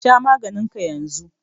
Sha maganin ka yanzu.